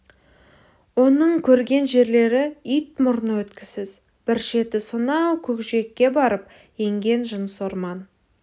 оның көрген жерлері ит мұрны өткісіз бір шеті сонау көкжиекке барып енген жыныс орман